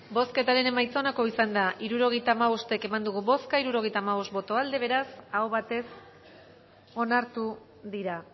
bozketaren emaitza onako izan da hirurogeita hamabost eman dugu bozka hirurogeita hamabost boto aldekoa beraz aho batez onartu dira